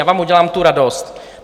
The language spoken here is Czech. Já vám udělám tu radost.